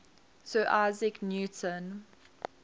sir isaac newton